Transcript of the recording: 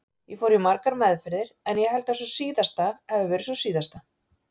Ég fór í margar meðferðir en ég held að sú síðasta hafi verið sú síðasta.